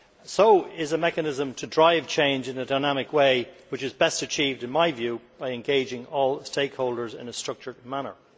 So is a mechanism to drive change in a dynamic way, which is best achieved, in my view, by engaging all stakeholders in a structured manner.